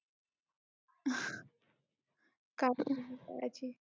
काय पण